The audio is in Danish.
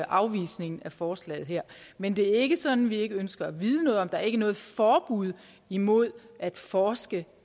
afvisningen af forslaget her men det er ikke sådan at vi ikke ønsker at vide noget om det der er ikke noget forbud imod at forske